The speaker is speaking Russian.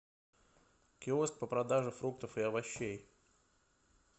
киоск по продаже фруктов и овощей